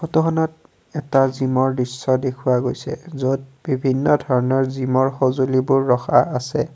ফটোখনত এটা জিমৰ দৃশ্য দেখুওৱা গৈছ য'ত বিভিন্ন ধৰণৰ জিমৰ সঁজুলিবোৰ ৰখা আছে।